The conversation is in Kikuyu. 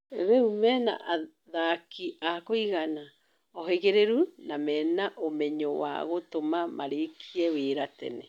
Rĩu mena athaki a kũigana, ohĩgĩrĩru na mena umenyo wa gũtũma marĩkie wĩra tene.